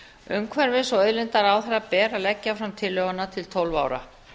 umhverfis og auðlindaráðherra ber að leggja fram tillöguna til tólf ára